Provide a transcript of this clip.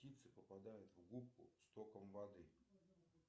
птицы попадают в губку стоком воды